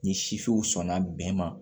Ni sifinw sɔnna bɛn ma